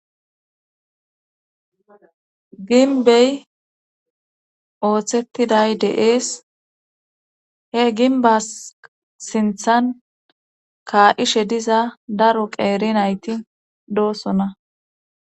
ginbey ooththettiday deees he ginba sinthan kaa7ishe diza daro qeeri nayti doossona